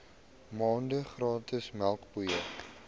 maande gratis melkpoeier